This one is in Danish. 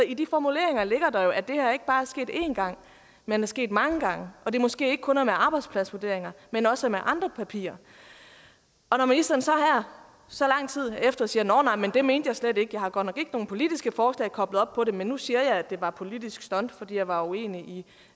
i de formuleringer ligger der jo at det her ikke bare er sket en gang men er sket mange gange og at det måske ikke kun er med arbejdspladsvurderinger men også med andre papirer når ministeren så her så lang tid efter siger nåh nej det mente jeg slet ikke jeg har godt nok nogen politiske forslag koblet op på det men nu siger jeg det var et politisk stunt fordi jeg var uenig